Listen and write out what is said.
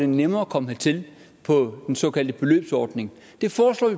nemmere at komme hertil på den såkaldte beløbsordning det foreslår